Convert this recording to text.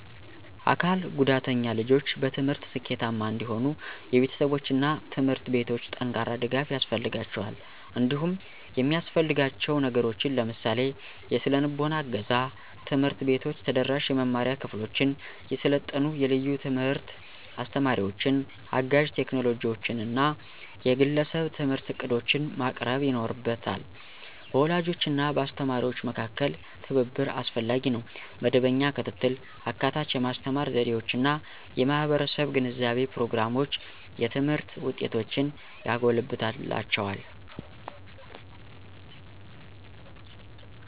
አካል ጉዳተኛ ልጆች በትምህርት ስኬታማ እንዲሆኑ የቤተሰቦች እና ትምህርት ቤቶች ጠንካራ ድጋፍ ያስፈልጋቸዋል። እንዲሁም የሚያሰፍልጋችው ነገሮችን ለምሳሌ -; የሰነልቦና እገዛ፣ ትምህርት ቤቶች ተደራሽ የመማሪያ ክፍሎችን፣ የሰለጠኑ የልዩ ትምህርት አስተማሪዎችን፣ አጋዥ ቴክኖሎጂዎችን እና የግለሰብ የትምህርት ዕቅዶችን ማቅረብ ይኖርበታ። በወላጆች እና በአስተማሪዎች መካከል ትብብር አስፈላጊ ነው. መደበኛ ክትትል፣ አካታች የማስተማር ዘዴዎች እና የማህበረሰብ ግንዛቤ ፕሮግራሞች የትምህርት ውጤቶችን ያጎለብትላቸዋል።